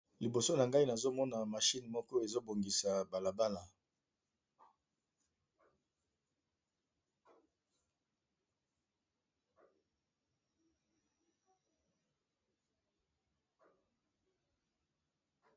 liboso na ngai nazomona mashine moko ezobongisa balabala